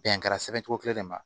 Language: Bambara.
Bɛn kɛra sɛbɛncogo kelen de ma